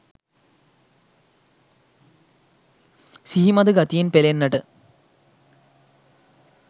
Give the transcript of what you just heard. සිහිමද ගතියෙන් පෙළෙන්නට